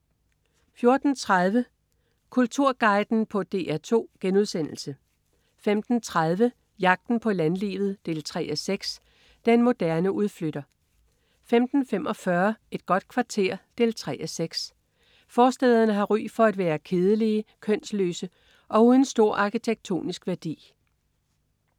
14.30 Kulturguiden på DR2* 15.30 Jagten på landlivet 3:6. Den moderne udflytter 15.45 Et godt kvarter 3:6. Forstæderne har ry for at være kedelige, kønsløse og uden stor arkitektonisk værdi